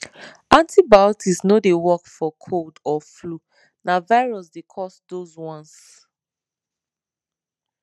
antibiotics no dey work for cold or flu na virus dey cause those ones